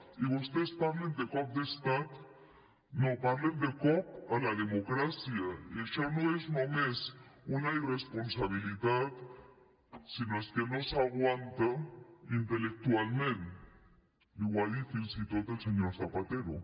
i vostès parlen de cop d’estat no parlen de cop a la democràcia i això no és només una irresponsabilitat sinó és que no s’aguanta intel·lectualment li ho ha dit fins i tot el senyor zapatero